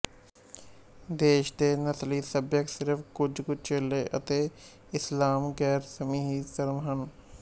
ਦੇਸ਼ ਦੇ ਨਸਲੀ ਸੱਭਿਅਕ ਸਿਰਫ ਕੁਝ ਕੁ ਚੇਲੇ ਅਤੇ ਇਸਲਾਮ ਗੈਰਮਸੀਹੀ ਧਰਮ ਹਨ